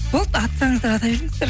болды атсаңыздар ата беріңіздер